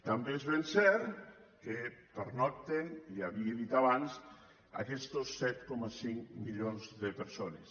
també és ben cert que hi pernocten ja ho havia dit abans aquestos set coma cinc milions de persones